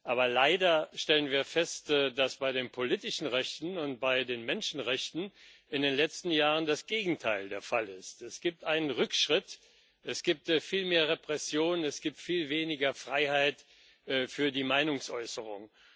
Aber leider stellen wir fest, dass bei den politischen Rechten und bei den Menschenrechten in den letzten Jahren das Gegenteil der Fall ist Es gibt einen Rückschritt, es gibt viel mehr Repressionen, es gibt viel weniger Freiheit für die Meinungsäußerung.